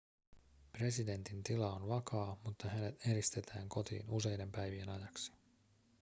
presidentin tila on vakaa mutta hänet eristetään kotiin useiden päivien ajaksi